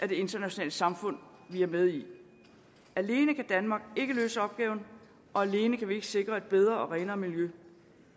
det internationale samfund vi er med i alene kan danmark ikke løse opgaven og alene kan vi ikke sikre et bedre og renere miljø